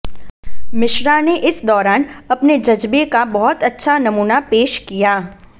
मिश्रा ने इस दौरान अपने जज्बे का बहुत अच्छा नमूना पेश किया